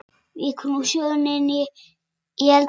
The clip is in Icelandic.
Víkur nú sögunni í eldhús.